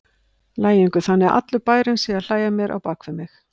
lægingu, þannig að allur bærinn sé að hlæja að mér á bak við mig.